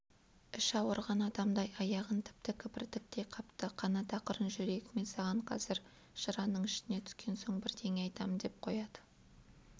іші ауырған адамдай аяғын тіпті кібіртіктей қапты қанат ақырын жүрейік мен саған қазір жыраның ішіне түскен соң бірдеңе айтам деп қояды